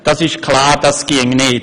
Das ist klar, das ginge nicht.